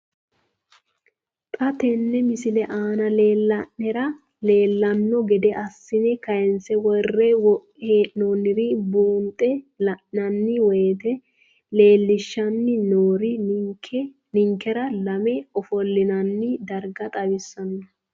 Xa tenne missile aana la'nara leellanno gede assine kayiinse worre hee'noonniri buunxe la'nanni woyiite leellishshanni noori ninkera lame ofollinanni darga xawissanno.